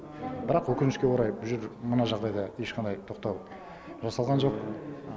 бірақ өкінішке орай бұл жер мына жағдайда ешқандай тоқтау жасалған жоқ